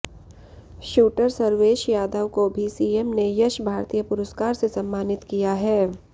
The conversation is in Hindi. शूटर सर्वेश यादव को भी सीएम ने यश भारतीय पुरस्कार से सम्मानित किया है